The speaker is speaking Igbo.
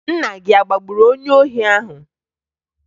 Nna gị a agbagburu onye ohi ahụ?